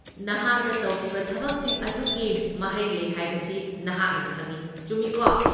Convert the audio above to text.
ꯅꯍꯥꯛꯅ ꯇꯧꯈꯤꯕ ꯊꯕꯛꯁꯤꯡ ꯑꯗꯨꯒꯤ ꯃꯍꯩ ꯂꯩ ꯍꯥꯏꯕꯁꯤ ꯅꯍꯥꯛꯅ ꯈꯪꯏ, ꯆꯨꯝꯃꯤꯀꯣ?